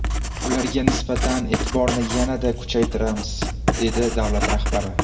Ularga nisbatan e’tiborni yanada kuchaytiramiz”, dedi davlat rahbari.